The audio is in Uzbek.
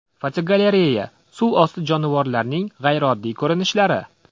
Fotogalereya: Suv osti jonivorlarining g‘ayrioddiy ko‘rinishlari.